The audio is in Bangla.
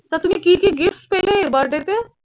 তা তুমি কি কি gift পেলে birthday তে?